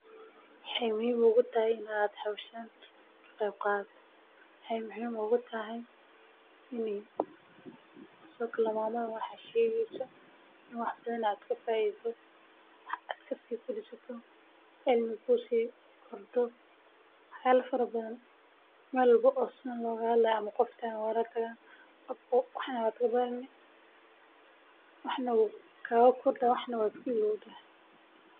Waa maxay sababta howshani muhiim ugu tahay bulshada dexdeeda waxaa looga qabtaa bulshada waxad ku caawini kartaa sido kale inuu yahay qorsha dagdag ah oo lagu.